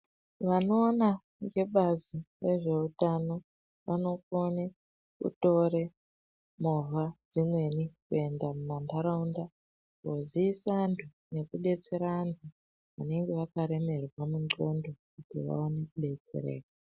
Vano ona ngebazi rezve utano vano kone kutore movha dzimweni ku enda muma ndaraunda ko ziisa vantu neku detsera antu vanenge vaka remerwa ne ndxondo kuti vaone ku detsereka.